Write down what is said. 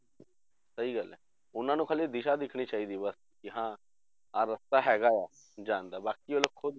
ਸਹੀ ਗੱਲ ਹੈ ਉਹਨਾਂ ਨੂੰ ਹਾਲੇ ਦਿਸ਼ਾ ਦੇਖਣੀ ਚਾਹੀਦੀ ਬਸ ਕਿ ਹਾਂ ਆਹ ਰਸਤਾ ਹੈਗਾ ਆ ਜਾਣ ਦਾ ਬਾਕੀ ਉਹ ਖੁੱਦ